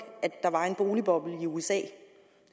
at der var en boligboble i usa det